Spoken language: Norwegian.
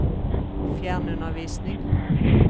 fjernundervisning